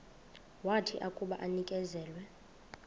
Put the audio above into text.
wathi akuba enikezelwe